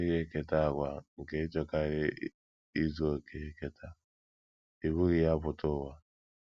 A dịghị eketa àgwà nke ịchọkarị izu okè eketa; i bughị ya pụta ụwa.